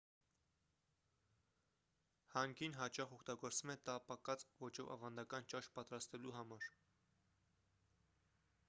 հանգին հաճախ օգտագործվում է տապակած ոճով ավանդական ճաշ պատրաստելու համար